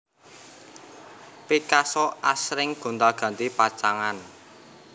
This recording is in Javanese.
Picasso asring gonti ganti pacangan